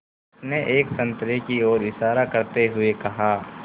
उसने एक संतरे की ओर इशारा करते हुए कहा